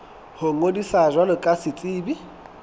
ho ngodisa jwalo ka setsebi